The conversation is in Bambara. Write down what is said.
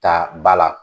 Ta ba la